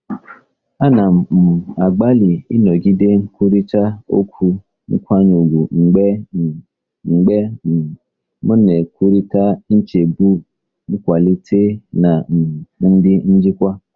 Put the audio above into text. Ana m um agbalị ịnọgide nkwurịta okwu nkwanye ùgwù mgbe um mgbe um m na-ekwurịta nchegbu nkwalite na um ndị njikwa.